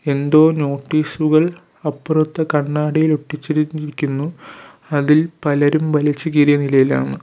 എന്തോ നോട്ടീസുകൾ അപ്പുറത്ത് കണ്ണാടിയിൽ ഒട്ടിച്ചിരിക്കുന്നു അതിൽ പലരും വലിച്ച് കീറിയ നിലയിലാണ്.